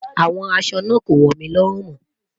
Awọn àṣọ naa kò wọ mí lórùn mó.